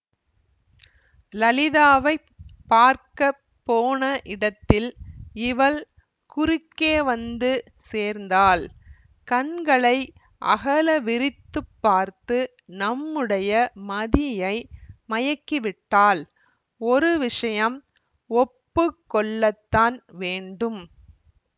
லலிதாவைப் பார்க்க போன இடத்தில் இவள் குறுக்கே வந்து சேர்ந்தாள் கண்களை அகல விரித்துப் பார்த்து நம்முடைய மதியை மயக்கிவிட்டாள் ஒரு விஷயம் ஒப்பு கொள்ளத்தான் வேண்டும்